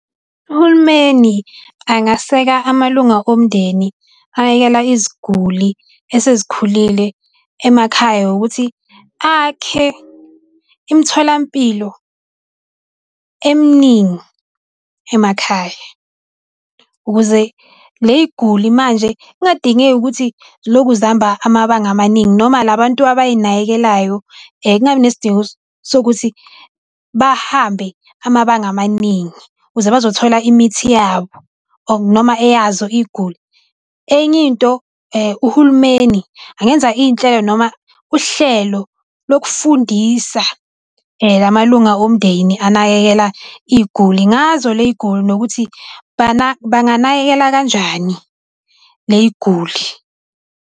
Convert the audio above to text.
Uhulumeni angaseka amalunga omndeni anakekela iziguli esezikhulile emakhaya ngokuthi akhe imitholampilo emningi emakhaya. Ukuze ley'guli manje kungadingeki ukuthi zilokhu zihamba amabanga amaningi noma la bantu abay'nakekelayo, kungabi nesidingo sokuthi bahambe amabanga amaningi, ukuze bazothola imithi yabo or noma eyazo iy'guli. Enye into uhulumeni angenza iy'nhlelo noma uhlelo lokufundisa la malunga omndeni anakekela iy'guli ngazo ley'guli nokuthi banganakekela kanjani ley'guli.